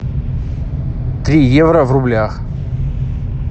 три евро в рублях